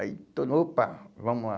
Aí, todo, opa, vamos lá.